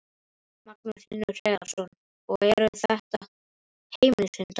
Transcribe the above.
Magnús Hlynur Hreiðarsson: Og eru þetta heimilishundar?